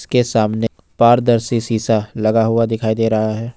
के सामने पारदर्शी शीशा लगा हुआ दिखाई दे रहा है।